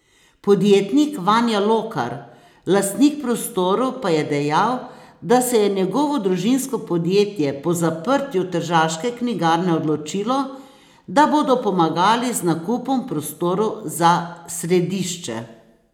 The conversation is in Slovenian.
Podjetnik Vanja Lokar, lastnik prostorov, pa je dejal, da se je njegovo družinsko podjetje po zaprtju Tržaške knjigarne odločilo, da bodo pomagali z nakupom prostorov za središče.